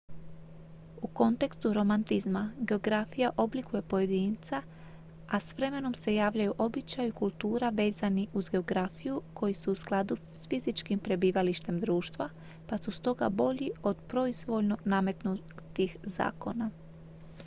u kontekstu romantizma geografija oblikuje pojedinca a s vremenom se javljaju običaji i kultura vezani uz geografiju koji su u skladu s fizičkim prebivalištem društva pa su stoga bolji od proizvoljno nametnutih zakona